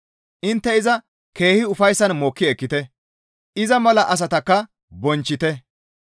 Intte iza keehi ufayssan mokki ekkite; iza mala asatakka bonchchite.